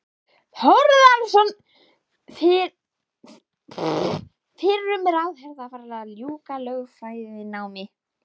Þórðarson fyrrum ráðherra, var að ljúka lögfræðinámi.